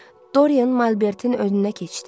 Dorian Malbertin önünə keçdi.